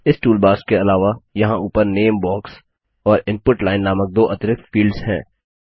इस टूलबार्स के अलावा यहाँ ऊपर नामे बॉक्स और इनपुट लाइन नामक दो अतिरिक्त फील्डस हैं